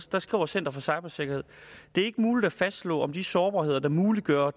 der skriver center for cybersikkerhed det er ikke muligt at fastslå om de sårbarheder der muliggør